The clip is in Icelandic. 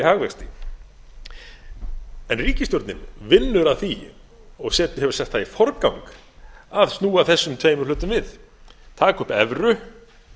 hagvexti en ríkisstjórnin vinnur að því og hefur sett það í forgang að snúa þessum tveimur hlutum við taka upp evru